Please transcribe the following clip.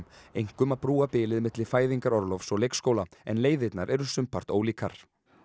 einkum að brúa bilið milli fæðingarorlofs og leikskóla en leiðirnar eru sumpart ólíkar